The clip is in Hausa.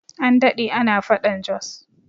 An daɗe ana faɗan Jos